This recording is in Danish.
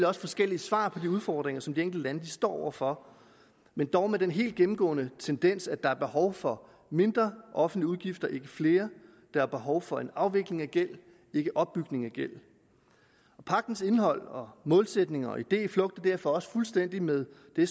også forskellige svar på de udfordringer som de enkelte står over for men dog med den helt gennemgående tendens at der er behov for mindre offentlige udgifter ikke flere der er behov for en afvikling af gæld ikke opbygning af gæld pagtens indhold og målsætninger og idé flugter derfor også fuldstændig med den